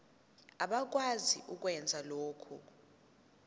abakwazi ukwenza lokhu